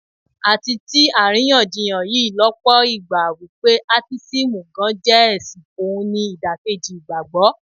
A ti tí àríyànjiyàn yí lọ́pọ̀ ìgbà wípé Átísímù gan-an jẹ́ ẹ̀sìn, ohun ni ìdàkejì ìgbàgbọ́.